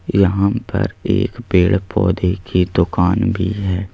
यहां पर एक पेड़ पौधे की दुकान भी है।